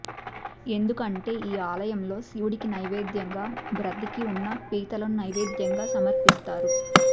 ఎందుకంటే ఈ ఆలయంలో శివుడికి నైవేద్యంగా భ్రతికి ఉన్న పీతలను నైవేద్యంగా సమర్పిస్తారు